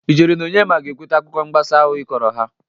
Ị chere na Onyema ga-ekwete akụkọ mgbasị ahụ ị kọrọ ha?